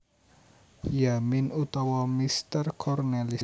Yamin utawa Meester Cornelis